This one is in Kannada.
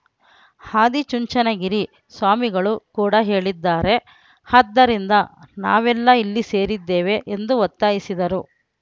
ಆದಿಚುಂಚನಗಿರಿ ಸ್ವಾಮಿಗಳು ಕೂಡ ಹೇಳಿದ್ದಾರೆ ಆದ್ದರಿಂದ ನಾವೆಲ್ಲಾ ಇಲ್ಲಿ ಸೇರಿದ್ದೇವೆ ಎಂದು ಒತ್ತಾಯಿಸಿದರು